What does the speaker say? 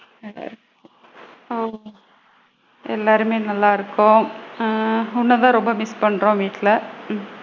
நல்லா ஆ எல்லாருமே நல்லா இருக்கோம். ஆ உன்னதான் ரொம்ப மிஸ் பண்றோம் வீட்ல உம்